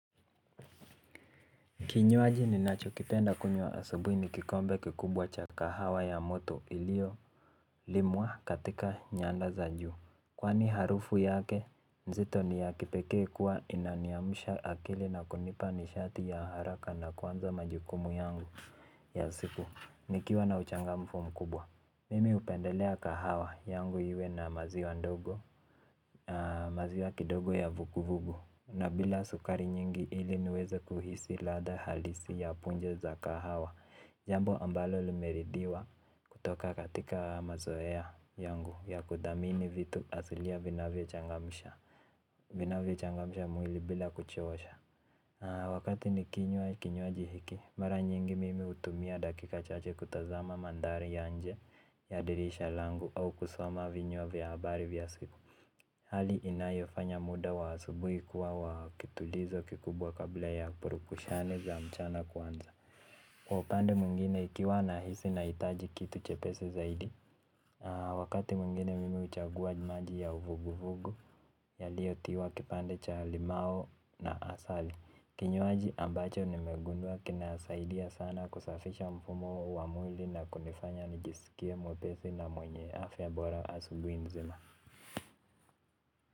Kinywaji ninachokipenda kunywa asubuhi ni kikombe kikubwa cha kahawa ya moto iliyo limwa katika nyanda za juu. Kwani harufu yake nzito ni ya kipekee kuwa inaniamsha akili na kunipa nishati ya haraka na kuanza majukumu yangu ya siku nikiwa na uchangamfu mkubwa. Mimi hupendelea kahawa yangu iwe na maziwa kidogo ya vugu vugu. Na bila sukari nyingi ili niweze kuhisi lada halisi ya punje za kahawa. Jambo ambalo limeridiwa kutoka katika mazoea yangu ya kuthamini vitu asilia vinavyo changamsha vinavyochangamsha mwili bila kuchosha. Wakati nikinywa kinywaji hiki mara nyingi mimi hutumia dakika chache kutazama mandhari ya nje ya dirisha langu au kusoma vinywa vya habari vya siku. Hali inayofanya muda wa asubuhi kuwa wa kitulizo kikubwa kabla ya purukushani za mchana kwanza. Kwa upande mwingine ikiwa nahisi nahitaji kitu chepesi zaidi, wakati mwingine mimi huchagua maji ya uvugu vugu yaliotiwa kipande cha limau na asali. Kinywaji ambacho nimegundua kinasaidia sana kusafisha mfumo wa mwili na kunifanya nijisikie mwepesi na mwenye afya bora asubuhi nzima.